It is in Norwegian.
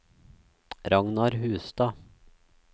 Ragnar Hustad